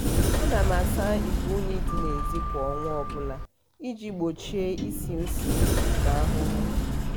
ana m asa igwe unyi dị n'ezi kwa ọnwa ọbụla iji gbochie ishi ushi na ahụhụ